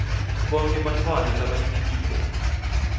bonkhe bantfwana labancikile